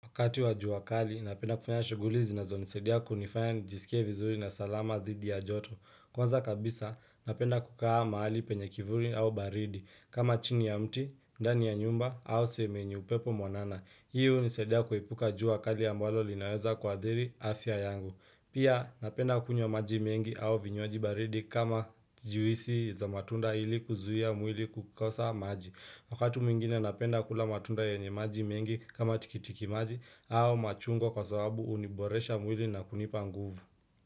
Wakati wa jua kali, napenda kufanya shuguli zinazonisaidia kunifanya nijisikie vizuri na salama dhidi ya joto. Kwanza kabisa, napenda kukaa mahali penye kivuli au baridi. Kama chini ya mti, ndani ya nyumba, au sehemu yenye upepo mwanana. Hii hunisaidia kuepuka jua kali ambalo linaweza kuathiri afya yangu. Pia, napenda kunywa maji mingi au vinywaji baridi kama juisi za matunda ili kuzuia mwili kukosa maji. Wakati mwingine napenda kula matunda yenye maji mengi kama tikiti maji au machungwa kwa sababu huniboresha mwili na kunipa nguvu.